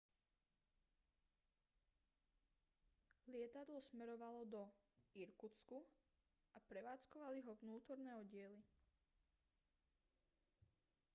lietadlo smerovalo do irkutsku a prevádzkovali ho vnútorné oddiely